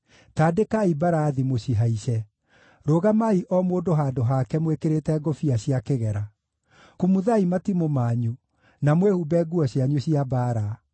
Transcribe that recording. Tandĩkai mbarathi, mũcihaice! Rũgamai o mũndũ handũ hake mwĩkĩrĩte ngũbia cia igera! Kumuthai matimũ manyu, na mwĩhumbe nguo cianyu cia mbaara.